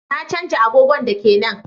Na canja agogon daki na